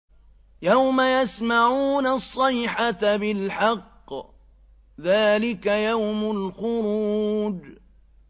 يَوْمَ يَسْمَعُونَ الصَّيْحَةَ بِالْحَقِّ ۚ ذَٰلِكَ يَوْمُ الْخُرُوجِ